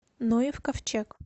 ноев ковчег